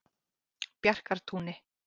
Bjarkartúni